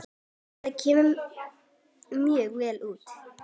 Það kom mjög vel út.